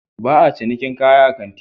Ba a cinikin kaya a kanti